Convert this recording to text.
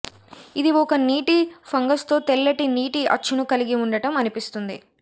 ఇది ఒక నీటి ఫంగస్తో తెల్లటి నీటి అచ్చును కలిగి ఉండటం అనిపిస్తుంది